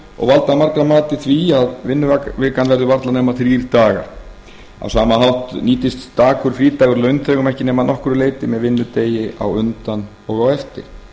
og valda að margra mati því að vinnuvikan verður varla nema þrír dagar á sama hátt nýtist stakur frídagur launþegum ekki nema að nokkru leyti með vinnudegi á undan og eftir